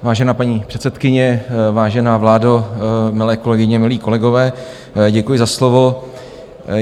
Vážená paní předsedkyně, vážená vládo, milé kolegyně, milí kolegové, děkuji za slovo.